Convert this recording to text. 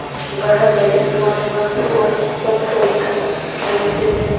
वह बड़े स्वामिभक्त और सच्चरित्र मनुष्य थे